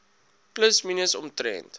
plus minus omtrent